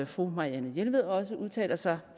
fru marianne jelved også udtaler sig